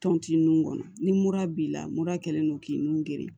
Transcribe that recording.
Tɔnti nun kɔnɔ ni mura b'i la mura kɛlen don k'i nun geren